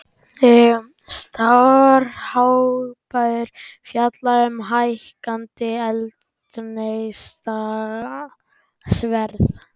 Starfshópur fjalli um hækkandi eldsneytisverð